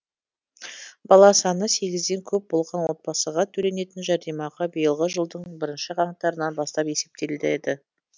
бала саны сегізден көп болған отбасыға төленетін жәрдемақы биылғы жылдың бірінші қаңтарынан бастап есептеледі